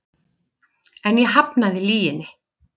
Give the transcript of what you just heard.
En ég hafnaði lyginni.